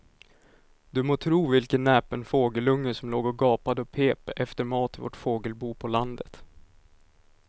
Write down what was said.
Du må tro vilken näpen fågelunge som låg och gapade och pep efter mat i vårt fågelbo på landet.